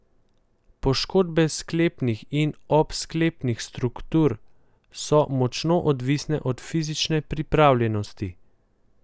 Poškodbe sklepnih in obsklepnih struktur so močno odvisne od fizične pripravljenosti.